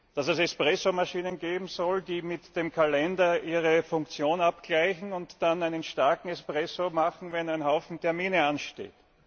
dass es Espressomaschinen geben soll, die mit dem Kalender ihre Funktion abgleichen und dann einen starken Espresso machen, wenn ein Haufen Termine ansteht.